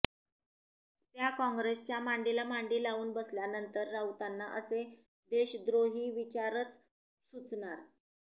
त्या काँग्रेसच्या मांडीला मांडी लावून बसल्यानंतर राऊतांना असे देशद्रोही विचारच सुचणार